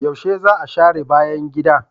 Yaushe za a share bayan gida?